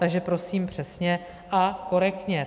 Takže prosím přesně a korektně.